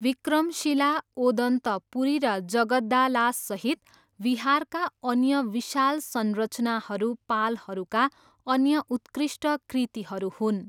विक्रमशिला, ओदन्तपुरी र जगद्दालासहित विहारका अन्य विशाल संरचनाहरू पालहरूका अन्य उत्कृष्ट कृतिहरू हुन्।